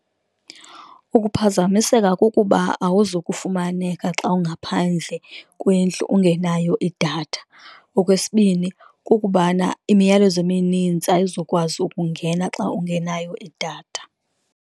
Ukuphazamiseka kukuba awuzukufumaneka xa ungaphandle kwendlu ungenayo idatha. Owesibini, kukubana imiyalezo eminintsi ayizukwazi ukungena xa ungenayo idatha.